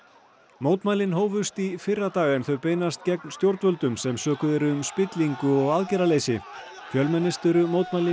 mótmælin hófust í fyrradag en þau beinast gegn stjórnvöldum sem sökuð eru um spillingu og aðgerðaleysi fjölmennust eru mótmælin